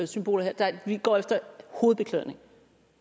symboler her vi går efter hovedbeklædning